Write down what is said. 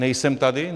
Nejsem tady?